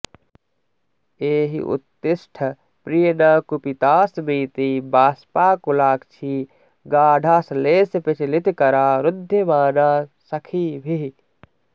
एह्युत्तिष्ठ प्रिय न कुपितास्मीति बाष्पाकुलाक्षी गाढाश्लेषप्रचलितकरा रुध्यमाना सखीभिः